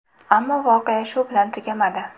Ammo voqea shu bilan tugamadi.